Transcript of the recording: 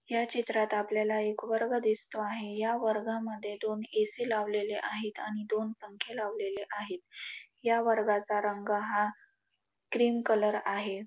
ह्या चित्रात आपल्याला एक वर्ग दिसतो आहे या वर्गामध्ये दोन ए_सी लावलेली आहे आणि दोन पंखे लावलेले आहे या वर्गाचा रंग हा क्रीम कलर आहे.